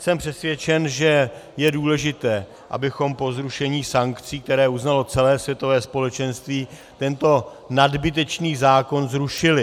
Jsem přesvědčen, že je důležité, abychom po zrušení sankcí, které uznalo celé světové společenství, tento nadbytečný zákon zrušili.